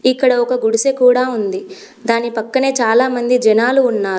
ఇక్కడ ఒక గుడిసె కూడా ఉంది దాని పక్కనే చాలా మంది జనాలు ఉన్నారు.